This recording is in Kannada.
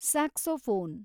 ಸ್ಯಾಕ್ಸೋಫೋನ್